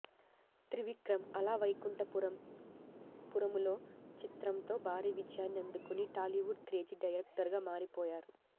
త్రివిక్రమ్ అల వైకుంఠపురములో చిత్రంతో భారీ విజయాన్నిఅందుకుని టాలీవుడ్ క్రేజీ డైరెక్టర్గా మారిపోయారు